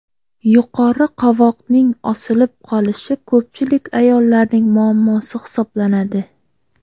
Yuqori qovoqning osilib qolishi ko‘pchilik ayollarning muammosi hisoblanadi.